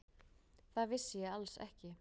Það vissi ég alls ekki.